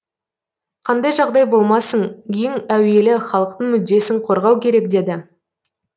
қандай жағдай болмасын ең әуелі халықтың мүддесін қорғау керек деді